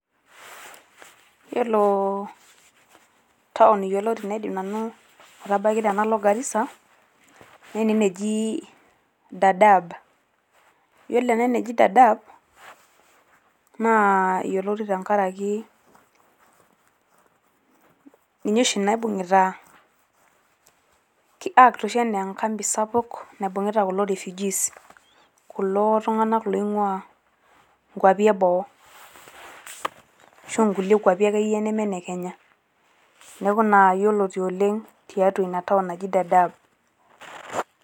Yiolo town yioloti naidim nanu atabaiki tena Garissa ne ene neji Dadaab ,yiolo ene neji Dadaab naa yioloti tenkaraki ninye oshi naibungita ki act oshi anaa e campi sapuk naibungita kulo refugees kulo tunganak loingwaa kwapi e boo ashua nkulie kwapi akeyie neme ine Kenya .niaku ina yioloti oleng tiatua ina town naji Dadaab.